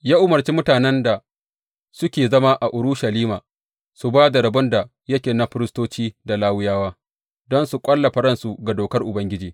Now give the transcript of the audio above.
Ya umarci mutanen da suke zama a Urushalima su ba da rabon da yake na firistoci da Lawiyawa, don su ƙwallafa ransu ga Dokar Ubangiji.